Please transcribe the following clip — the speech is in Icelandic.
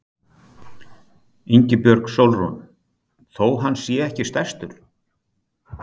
Ingibjörg Sólrún: Þó hann sé ekki stærstur?